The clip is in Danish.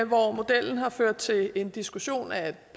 hvor modellen har ført til en diskussion af et